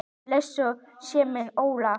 Blessuð sé minning Ólafs.